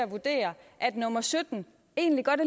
vurdere at nummer sytten egentlig godt